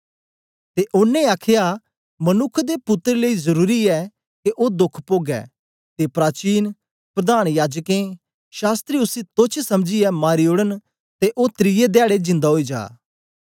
ते ओनें आखया मनुक्ख दे पुत्तर लेई जरुरी ऐ के ओ दोख पोगै ते प्राचीन प्रधान याजकें शास्त्री उसी तोच्छ समझीयै मारी ओड़न ते ओ त्रिये धयाडै जिन्दा ओई जा